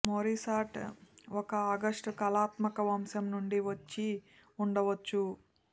మొరిసాట్ ఒక ఆగష్టు కళాత్మక వంశం నుండి వచ్చి ఉండవచ్చు